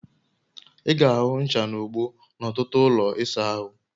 I ga-ahụ ncha na ogbo n'ọtụtụ ụlọ ịsa ahụ